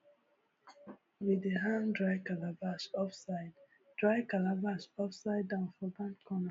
we dey hang dry calabash upside dry calabash upside down for barn corner